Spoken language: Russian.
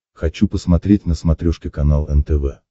хочу посмотреть на смотрешке канал нтв